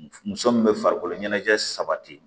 Muso min bɛ farikolo ɲɛnajɛ sabati